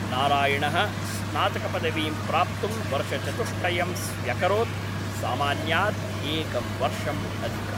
नारायणः स्नातकपदवीं प्राप्तुं वर्षचतुष्टयं स्व्यकरोत्, सामान्यात् एकं वर्षम् अधिकम्।